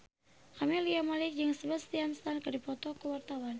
Camelia Malik jeung Sebastian Stan keur dipoto ku wartawan